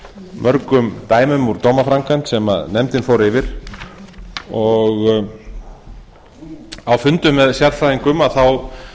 mörgum dæmum úr dómaframkvæmd sem nefndin fór yfir á fundum með sérfræðingum þá